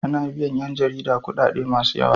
Ana biyan yan jarida kudade masu yawa.